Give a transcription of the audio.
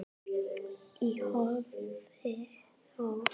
Í hófi þó.